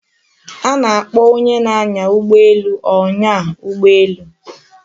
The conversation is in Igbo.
A na-akpo onye na-anya ugboelu onya ugboelu